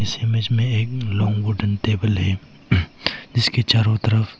इस इमेज में एक लांग वुडन टेबल है जिसके चारों तरफ--